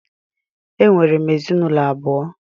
Enwere m ezinụlọ abụọ.